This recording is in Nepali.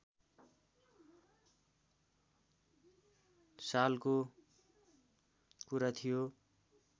सालको कुरा थियो